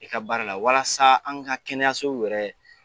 I ka baara la walasa an ka kɛnɛyasow yɛrɛ